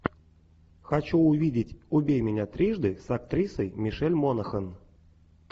хочу увидеть убей меня трижды с актрисой мишель монахэн